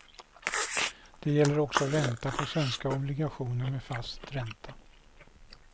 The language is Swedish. Det gäller också ränta på svenska obligationer med fast ränta.